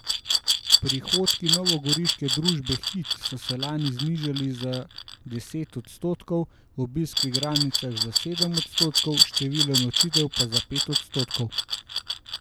Prihodki novogoriške družbe Hit so se lani znižali za deset odstotkov, obisk v igralnicah za sedem odstotkov, število nočitev pa za pet odstotkov.